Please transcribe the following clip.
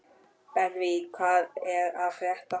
Benvý, hvað er að frétta?